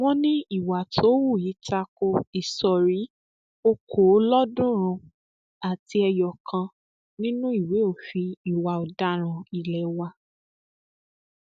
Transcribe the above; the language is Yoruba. wọn ní ìwà tó hù yìí ta ko ìsọrí okòólọọọdúnrún àti ẹyọ kan nínú ìwé òfin ìwà ọdaràn ilé wa